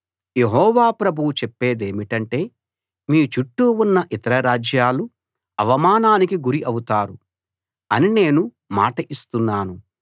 యెహోవా ప్రభువు చెప్పేదేమిటంటే మీ చుట్టూ ఉన్న ఇతర రాజ్యాలు అవమానానికి గురి అవుతారు అని నేను మాట ఇస్తున్నాను